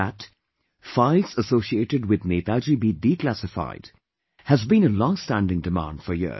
That files associated with Netaji be declassified has been a long standing demand for years